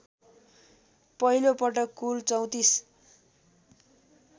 पहिलोपटक कुल ३४